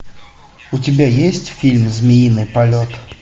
у тебя есть фильм змеиный полет